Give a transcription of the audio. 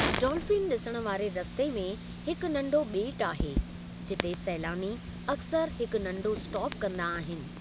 Dolphin ॾिसण वारे रस्ते में हिकु नंढो ॿेट आहे, जिते सैलानी अक्सरु हिक नंढो स्टाप कंदा आहिनि।